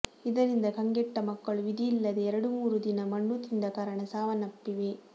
ಇದರಿಂದ ಕಂಗೆಟ್ಟ ಮಕ್ಕಳು ವಿಧಿಯಿಲ್ಲದೇ ಎರಡು ಮೂರು ದಿನ ಮಣ್ಣು ತಿಂದ ಕಾರಣ ಸಾವನಪ್ಪಿವೆ